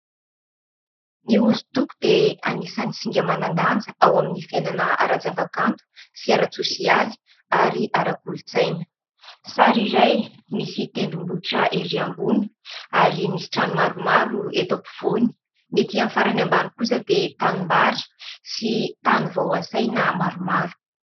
Ny hosodoko dia anisan'ny singa manan-danja ao amin'ny fiainana ara-javakanto sy ara-tsôsialy ary ara-kolontsaina. Sary iray misy tendrombohitra erỳ ambony ary misy trano maromaro eto ampovoany ; ny etỳ amin'ny farany ambany kosa dia tanimbary sy tany vao hasaina maromaro.